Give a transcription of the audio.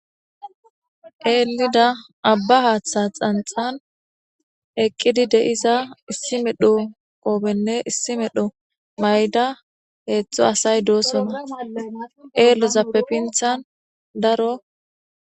Ellida aba haththa xanxxan eqqidi de'iza issi medhdho qobbene issi medhdho mayidda hedzdzu asayi de'ossona ellozappe pinththan daro.